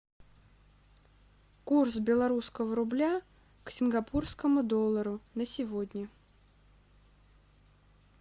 курс белорусского рубля к сингапурскому доллару на сегодня